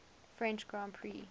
french grand prix